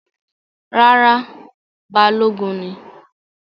Rárá, Balogun ni